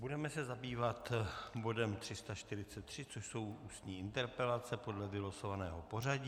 Budeme se zabývat bodem 343, což jsou ústní interpelace podle vylosovaného pořadí.